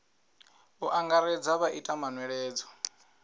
u angaredza vha ite manweledzo